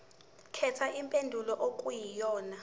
khetha impendulo okuyiyona